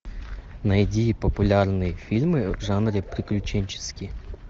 найди популярные фильмы в жанре приключенческий